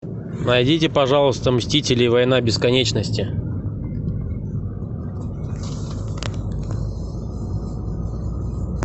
найдите пожалуйста мстители война бесконечности